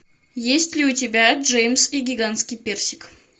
есть ли у тебя джеймс и гигантский персик